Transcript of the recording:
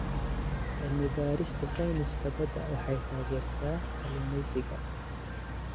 Cilmi-baarista sayniska badda waxay taageertaa kalluumeysiga.